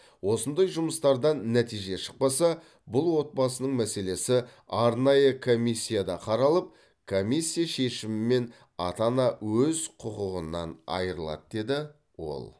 осындай жұмыстардан нәтиже шықпаса бұл отбасының мәселесі арнайы комиссияда қаралып комиссия шешімімен ата ана өз құқығынан айырылады деді ол